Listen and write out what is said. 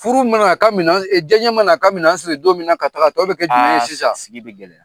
Furu mana a ka minan, diya n ye mana a ka minan a siri don mina ka taa; a , tɔ bɛ kɛ jumɛn ye sisan? sigi bɛ gɛlɛya.